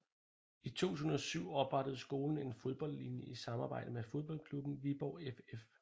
I 2007 oprettede skolen en fodboldlinje i samarbejde med fodboldklubben Viborg FF